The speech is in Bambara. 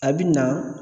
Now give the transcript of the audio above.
A bi na